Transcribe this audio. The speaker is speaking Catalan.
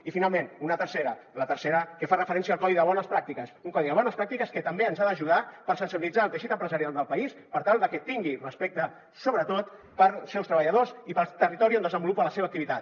i finalment una tercera la tercera que fa referència al codi de bones pràctiques un codi de bones pràctiques que també ens ha d’ajudar per sensibilitzar el teixit empresarial del país per tal de que tingui respecte sobretot pels seus treballadors i pel territori on desenvolupa la seva activitat